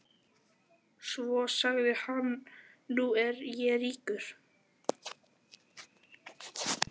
Svo sagði hann: Nú er ég ríkur.